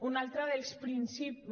un altre dels principis